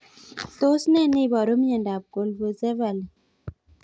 Tos nee neiparu miondop colpocephaly?